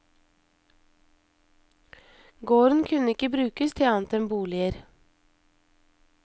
Gården kunne ikke brukes til annet enn boliger.